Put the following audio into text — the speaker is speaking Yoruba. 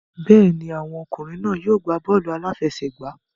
Bẹ́ẹ̀ ni, àwọn ọmọkùnrin náà yóò gbá bọ́ọ̀lù aláfẹsẹ̀gbá